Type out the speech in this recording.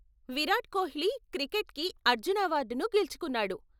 విరాట్ కోహ్లీ క్రికెట్కి అర్జున అవార్డును గెలుచుకున్నాడు.